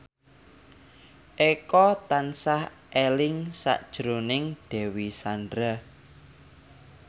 Eko tansah eling sakjroning Dewi Sandra